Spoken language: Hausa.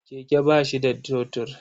Keke ba shi da totur.